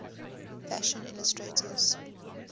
fashion illustrators